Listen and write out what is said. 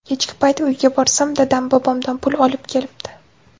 Kechki payt uyga borsam dadam bobomdan pul olib kelibdi.